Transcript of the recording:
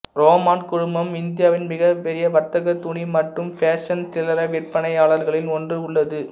Raymond குழுமம் இந்தியாவின் மிக பெரிய வர்த்தக துணி மற்றும் ஃபேஷன் சில்லறை விற்பனையாளர்களிள் ஒன்று உள்ளது